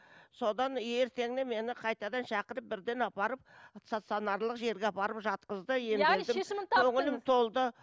содан ертеңіне мені қайтадан шақырып бірден апарып стационарлық жерге апарып жатқызды